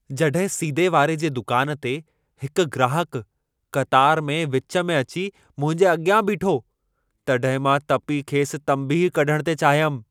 जॾहिं सीदे वारे जे दुकान ते हिकु ग्राहकु क़तार में विच में अची मुंहिंजे अॻियां बीठो, तॾहिं मां तपी खेसि तंबीह कढणु थे चाहियमि।